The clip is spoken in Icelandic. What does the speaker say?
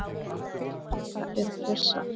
Hvaða er pressa?